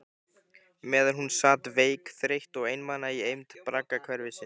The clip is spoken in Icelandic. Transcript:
Meðan hún sat veik, þreytt og einmana í eymd braggahverfisins.